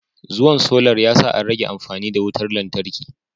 Zuwan solar yasa an rage amfani da wutar lantarki